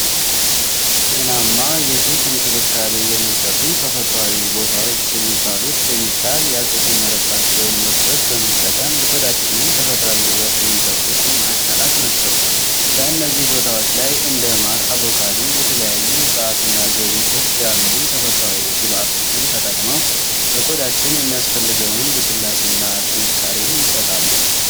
ጤናማ የፊት እንክብካቤ የሚሰጡ ተፈጥሯዊ ቦታዎች የሚባሉት፣ ኬሚካል ያልተጨመረባቸውን ምርቶች በመጠቀም የቆዳችንን ተፈጥሯዊ ውበት የሚጠብቁ ማዕከላት ናቸው። በእነዚህ ቦታዎች ላይ እንደ ማር፣ አቮካዶ፣ የተለያዩ እፅዋትና ዘይቶች ያሉ ተፈጥሮአዊ ግብአቶችን ተጠቅመው ለቆዳችን የሚያስፈልገውን ልስላሴና ጥንካሬ ይሰጣሉ።